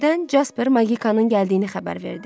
Birdən Casper Magikanın gəldiyini xəbər verdi.